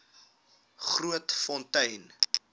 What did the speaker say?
grootfontein